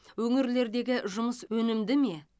өңірлердегі жұмыс өнімде ме